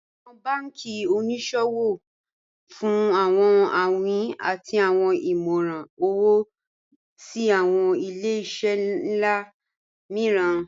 Awọn banki oníṣòwò n fún awọn awìn àti awọn ìmọ̀ran owo sí awọn ilẹ̀-iṣẹ̀ nlá mììràn